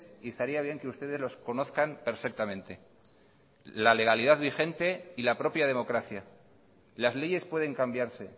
y estaría bien que ustedes los conozcan perfectamente la legalidad vigente y la propia democracia las leyes pueden cambiarse